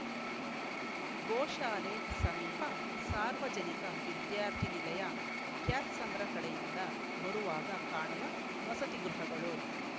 ಗೋಶಾಲೆ ಸಮೀಪ ಸಾರ್ವಜನಿಕ ವಿದ್ಯಾರ್ಥಿನಿಲಯ ಕ್ಯಾತ್ಸಂದ್ರ ಕಡೆಯಿಂದ ಬರುವಾಗ ಕಾಣುವ ವಸತಿಗೃಹಗಳು